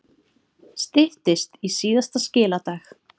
Styttist í síðasta skiladag